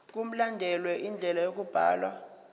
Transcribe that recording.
mkulandelwe indlela yokubhalwa